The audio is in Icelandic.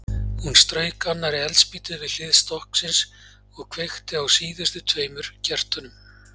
Hún strauk annarri eldspýtu við hlið stokksins og kveikti á síðustu tveimur kertunum.